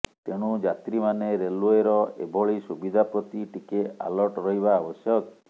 ତେଣୁ ଯାତ୍ରୀମାନେ ରେଲ୍ୱେର ଏଭଳି ସୁବିଧା ପ୍ରତି ଟିକେ ଆଲର୍ଟ ରହିବା ଆବଶ୍ୟକ